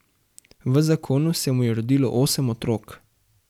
V zakonu se mu je rodilo osem otrok.